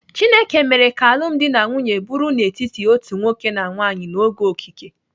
Chineke mere ka alụmdi na nwunye bụrụ n'etiti otu nwoke na nwaanyị n'oge okike.